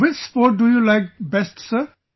Which sport do you like best sir